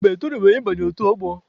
Mba, etorubeghị m ị banye otu ọgbọ.